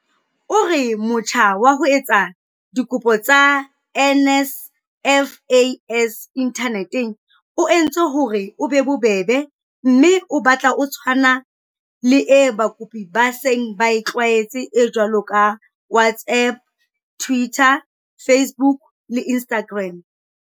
O re motjha wa ho etsa dikopo tsa NSFAS inthaneteng o entswe hore o be bobebe mme o batla o tshwana le e bakopi ba seng ba e tlwaetse e jwalo ka WhatsApp, Twitter, Facebook le Instagram."